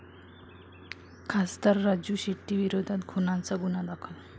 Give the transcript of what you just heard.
खासदार राजू शेट्टींविरोधात खुनाचा गुन्हा दाखल